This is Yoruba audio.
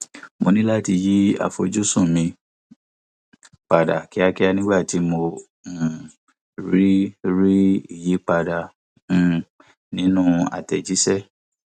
mo ní láti yí àfojúsùn mi padà kíákíá nígbà tí mo um rí rí ìyípadà um nínú àtẹjíṣẹ